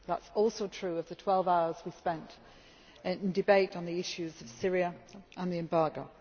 That is also true of the twelve hours we spent in debate on the issues of Syria and the embargo.